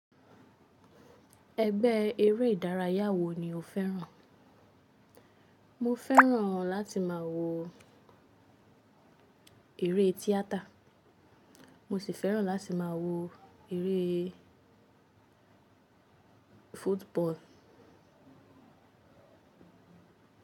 Ẹgbẹ́ eré ìdárayá wo ni o fẹ́ràn? Mo fẹ́ràn láti má a wo eré tíátà, mo sì fẹ́ràn láti má a wo eré football.